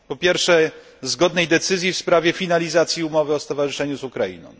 Po pierwsze, zgodnej decyzji w sprawie finalizacji umowy o stowarzyszeniu z Ukrainą.